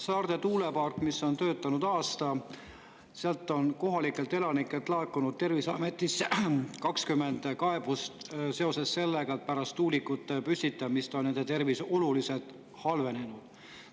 Saarde tuulepark on töötanud aasta ja sealsetelt kohalikelt elanikelt on laekunud Terviseametile 20 kaebust seoses sellega, et pärast tuulikute püstitamist on nende tervis oluliselt halvenenud.